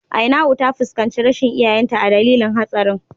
Ainau ta fuskanci rashin iyayenta a dalilin hatsarin.